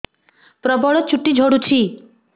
ପ୍ରବଳ ଚୁଟି ଝଡୁଛି